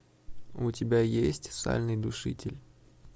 у тебя есть сальный душитель